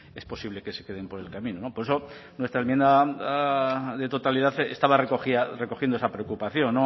es posible que se queden por el camino por eso nuestra enmienda de totalidad estaba recogiendo esa preocupación